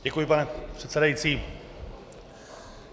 Děkuji, pane předsedající.